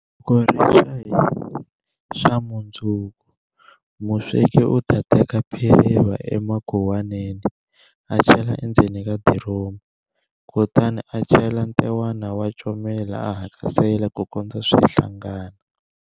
Loko rixa hi xamundzuku, musweki u ta teka phiriva emakhuwaneni a chela endzeni ka diromu, kutani a chela ntewana wa comela a hakasela ku kondza swi hlangana.